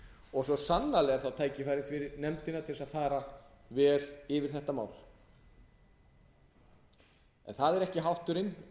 og svo sannarlega er þá tækifæri fyrir nefndina til að fara vel yfir þetta mál en það er ekki háttúrinn